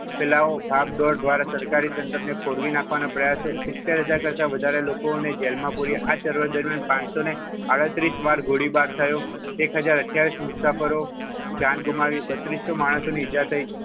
ભાગદોડ દ્વારા સરકારી તંત્ર ખોરવી નાખવાના પ્રયાસો સિત્તેર હજાર કરતાં વધારે લોકો ને જેલમાં પૂર્યા આ ચળવળ દરમિયાન પાંચસો આડત્રીસ વાર ગોળીબાર થયો એખજાર અઠયાવિસ મુસાફરો જાન ગુમાવી બત્રીસો માણસોને ઈજા થઈ.